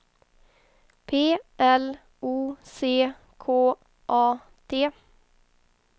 P L O C K A T